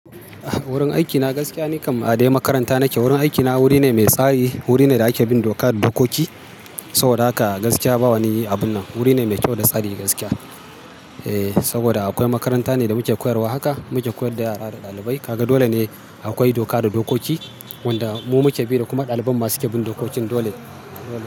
Wurin aikina gaskiya ni kam a dai makaranta nake. Wurin aikina wuri ne mai tsari, wuri ne da ake bin doka da dokoki. Saboda haka gaskiya bawa ni yi abun nan. Wuri ne mai kyau da tsari gaskiya. E, saboda akwai makaranta ne da muke koyarwa haka, muke koyar da yara da ɗalibai. Kaga dole ne akwai doka da dokoki wanda mu muke bi da kuma ɗaliban ma suke bin dokokin dole.